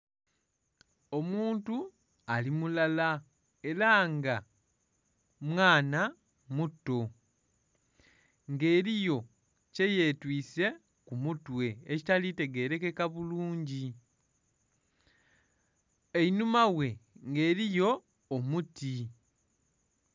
Omuntu ali mulala era nga mwaana muto nga eriyo kye yetwise ku mutwe ekitali tegerekeka bulungi, einhuma ghe nga eriyo omuti.